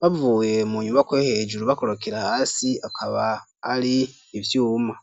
bavuye mu nyubakwa yo hejuru bakorokera hasi akaba ari ivyuma.